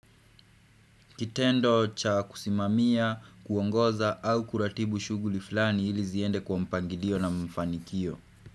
Kitendo cha kusimamia, kuongoza au kuratibu shuguli fulani ili ziende kwa mpangilio na mfanikio.